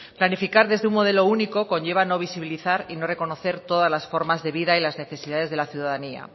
planificar desde un modelo único conlleva no visibilizar y no reconocer todas las formas de vida y las necesidades de la ciudadanía